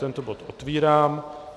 Tento bod otevírám.